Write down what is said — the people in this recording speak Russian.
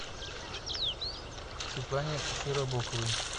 светлане широбоковой